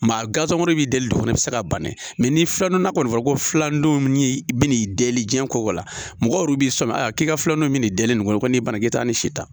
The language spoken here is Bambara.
Maa gazegurukumunin bɛ deli de kɔnɔ i bɛ se ka ban dɛ ni filanan kɔni fɔra ko filandon ni bin jiɲɛ ko la mɔgɔ bɛ sɔmi a k'i ka filanan in bɛ nin de kɔnɔ n'i ban na k'e taa ni si ta